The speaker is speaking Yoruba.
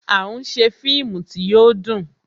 À ń ṣe fíìmù tí yo dùn